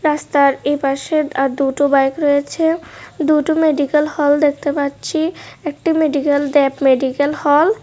রাস্তার এপাশে আর দুটো বাইক রয়েছে দুটো মেডিকেল হল দেখতে পাচ্ছি একটি মেডিকেল দেব মেডিকেল হল ।